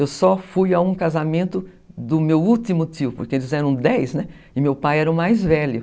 Eu só fui a um casamento do meu último tio, porque eles eram dez, né, e meu pai era o mais velho.